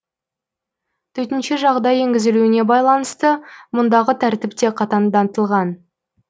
төтенше жағдай енгізілуіне байланысты мұндағы тәртіп те қатаңдатылған